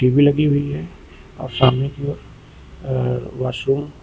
we लगी हुई है और सामने की ओर वॉशरूम --